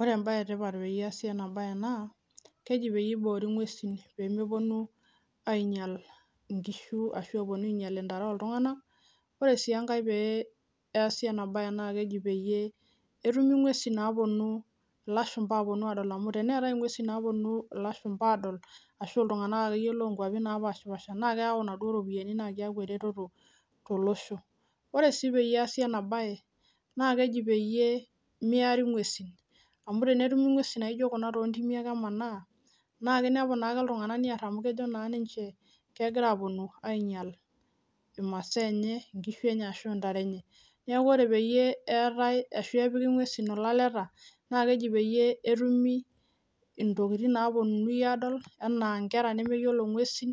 Ore embaye e tipat peyie eesi ena baye naa keji peyie iboori ing'uesin pee meponu ainyal inkishu ashu eponu ainyal intare ooltung'anak. Ore sii enkae pee easi ena baye naake eji peyie etumi ng'uesin naaponu ilashumba aaponu aadol. Amu teneetai ing'uesin naaponu ilashumba aadol ashu iltung'anak akeyie loo nkuapi napaashipaasha naake eyau inaduo ropiani naake eyaku eretoto tolosho. Ore sii peyie eesi ena baye naake eji peyie miari ing'uesin amu tenetumi ing'uesin naijo kuna too ntimi ake emanaa naake inepu naake iltung'anak niar amu kejo naa ninche kegira aaponu ainyal imasaa enye, inkishu enye ashu intare enye. Neeku ore peyie eetai ashu epiki ng'uesin ilaleta naake eji peyie etumi intokitin naaponunui aadol enaa nkera nemeyiolo ing'uesin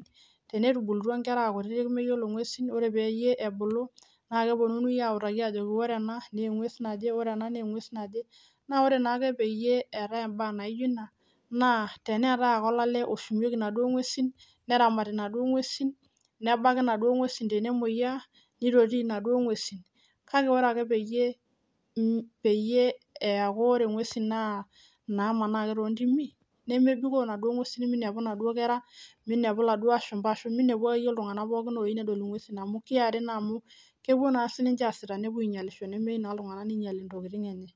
tenetubulutua inkera aa kutitik meyiolo ng'uesin, ore peyie ebulu naake eponunui autaki aajo ore ena nee eng'ues naje, ore ena nee engues naje. Naa ore naake ake peyie eetai imbaa naijo nena naa teneetai ake olale oshumieki inaduo ng'uesin, neramati inaduo ng'uesin, nebaki inaduo ng'uesin tenemueyiaa, nitoti inaduo ng'uesin. Kake ore ake peyie peyie eyaku ore ng'uesin naa inamanaa ake too ntimi nemebikoo inaduo ng'uesin minepu inaduo kera, minepu iladuo ashumba ashu minepu akeyie iltung'anak pookin loyiu nedol ing'uesin amu kiari naa amu kepuo naa siinche aasita nepuo ainyalisho nemeyiu naa iltung'anak ninyali intokitin enye.